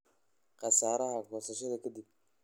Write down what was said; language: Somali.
Khasaaraha goosashada ka dib.